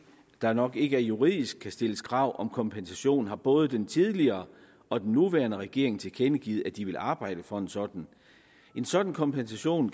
der nok ikke juridisk kan stilles krav om kompensation har både den tidligere og den nuværende regering tilkendegivet at de vil arbejde for en sådan en sådan kompensation